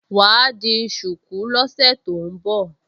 Wà á di ṣùkú lọ́sẹ̀ tó ń bọ̀